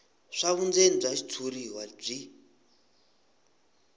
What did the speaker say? swa vundzeni bya xitshuriwa byi